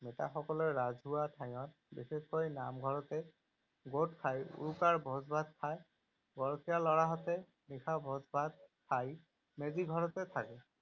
ৰাজহুৱা ঠাইত, বিশেষকৈ নামঘৰতে গোট খাই উৰুকাৰ ভোজ ভাত খায়। গৰখীয়া লৰাহঁতে নিশা ভোজ ভাত খাই মেজি ঘৰতে থাকে।